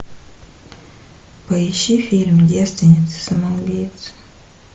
поищи фильм девственницы самоубийцы